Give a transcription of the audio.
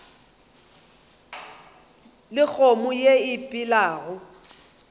le kgomo ye e phelago